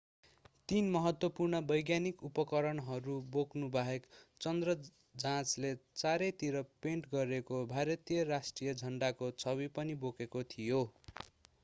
तीन महत्त्वपूर्ण वैज्ञानिक उपकरणहरू बोक्नु बाहेक चन्द्र जाँचले चारै तिर पेन्ट गरिएको भारतीय राष्ट्रिय झण्डाको छवि पनि बोकेको थियो